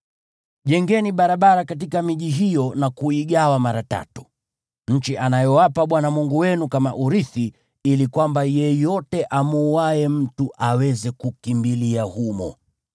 Jengeni barabara katika miji hiyo na kuigawa mara tatu, nchi anayowapa Bwana Mungu wenu kama urithi, ili kwamba yeyote amuuaye mtu aweze kukimbilia humo.